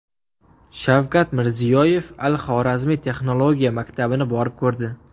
Shavkat Mirziyoyev al-Xorazmiy texnologiya maktabini borib ko‘rdi.